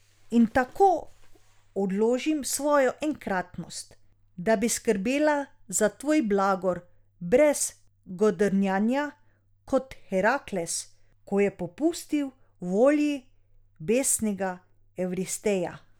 In tako odložim svojo enkratnost, da bi skrbela za tvoj blagor brez godrnjanja, kot Herakles, ko je popustil volji besnega Evristeja ...